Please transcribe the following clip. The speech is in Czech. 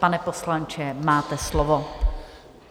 Pane poslanče, máte slovo.